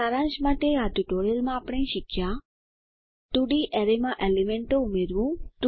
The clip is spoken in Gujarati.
સારાંશ માટે આ ટ્યુટોરીયલમાં આપણે શીખ્યા 2ડી અરેમાં એલીમેન્ટો ઉમેરવું